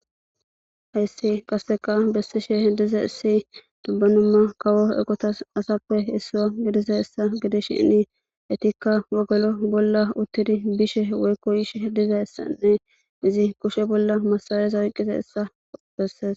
hayssi qaseqa bessishe hediza issi dubbanumma kawo egotas asappe issua gidiza essa gedi shinni etikka wogolo bolla uttidi bishe woykko ishe heddiza issanne izi kushe bolla masaleyeza oyqqiza essa besses